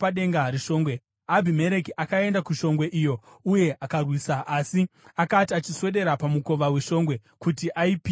Abhimereki akaenda kushongwe iyo uye akairwisa. Asi akati achiswedera pamukova weshongwe kuti aipise nomoto,